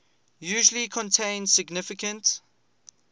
usually contain significant